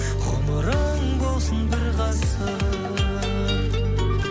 ғұмырың болсын бір ғасыр